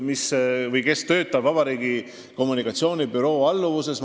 Martin Jaško töötab Vabariigi Valitsuse kommunikatsioonibüroo alluvuses.